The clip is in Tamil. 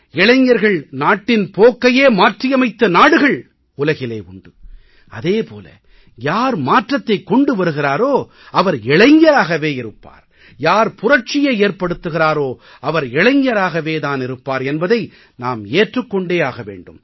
இளைஞர்கள் நாட்டின் போக்கையே மாற்றியமைத்த நாடுகள் உலகிலே உண்டு அதே போல யார் மாற்றத்தைக் கொண்டு வருகிறாரோ அவர் இளைஞராகவே இருப்பார் யார் புரட்சியை ஏற்படுத்துகிறாரோ அவர் இளைஞராகத் தான் இருப்பார் என்பதை நாம் ஏற்றுக் கொண்டே ஆக வேண்டும்